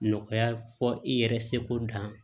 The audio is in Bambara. Nɔgɔya fɔ i yɛrɛ seko dan